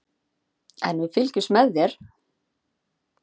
En við fylgjumst með þér.